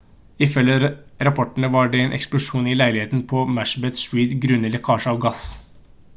ifølge rapportene var det en eksplosjon i en leilighet på macbeth street grunnet lekkasje av gass